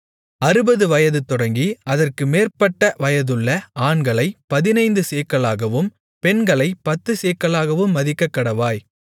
அறுபது வயதுதொடங்கி அதற்கு மேற்பட்ட வயதுள்ள ஆண்களைப் பதினைந்து சேக்கலாகவும் பெண்களைப் பத்துச் சேக்கலாகவும் மதிக்கக்கடவாய்